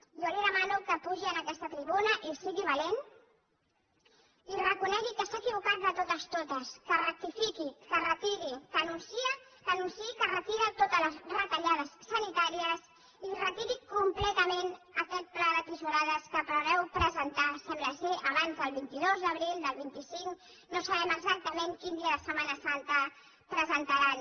jo li demano que pugi a aquesta tribuna i sigui valent i reconegui que s’ha equivocat de totes totes que rectifiqui que retiri que anunciï que retira totes les retallades sanitàries i retiri completament aquest pla de tisorades que preveu presentar sembla abans del vint dos d’abril del vint cinc no sabem exactament quin dia de setmana santa el presentaran